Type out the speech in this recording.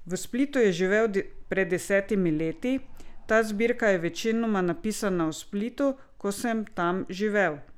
V Splitu je živel pred desetimi leti: "Ta zbirka je večinoma napisana v Splitu, ko sem tam živel.